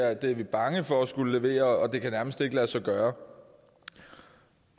er de bange for at skulle levere og at det nærmest ikke kan lade sig gøre